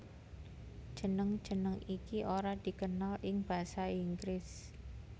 Jeneng jeneng iki ora dikenal ing basa Inggris